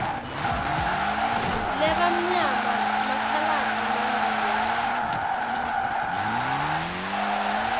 labamnyama makhaladi mandiya